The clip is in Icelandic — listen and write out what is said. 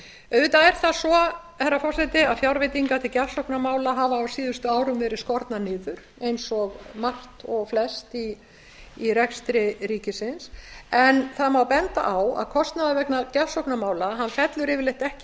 auðvitað er það svo herra forseti að fjárveitingar til gjafsóknarmála hafa á síðustu árum verið skornar niður eins og margt og flest í rekstri ríkisins en það má benda á að kostnaður vegna gjafsóknarmála fellur yfirleitt ekki